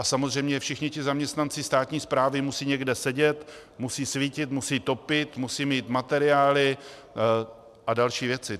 A samozřejmě všichni ti zaměstnanci státní správy musí někde sedět, musí svítit, musí topit, musí mít materiály a další věci.